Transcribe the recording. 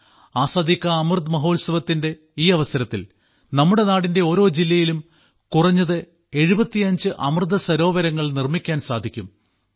ആസാദി കാ അമൃത് മഹോത്സവത്തിന്റെ ഈ അവസരത്തിൽ നമ്മുടെ നാടിന്റെ ഓരോ ജില്ലയിലും കുറഞ്ഞത് 75 അമൃത സരോവരങ്ങൾ നിർമ്മിക്കാൻ സാധിക്കും